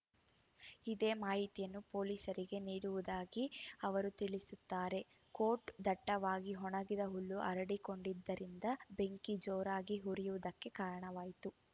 ಇದೇ ಮಾಹಿತಿಯನ್ನು ಪೊಲೀಸರಿಗೂ ನೀಡಿರುವುದಾಗಿ ಅವರು ತಿಳಿಸುತ್ತಾರೆ ಕೋಟ್‌ ದಟ್ಟವಾಗಿ ಒಣಗಿದ ಹುಲ್ಲು ಹರಡಿಕೊಂಡಿದ್ದರಿಂದ ಬೆಂಕಿ ಜೋರಾಗಿ ಉರಿಯುವುದಕ್ಕೆ ಕಾರಣವಾಯಿತು